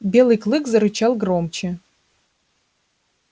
белый клык зарычал громче